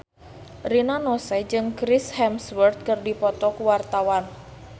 Rina Nose jeung Chris Hemsworth keur dipoto ku wartawan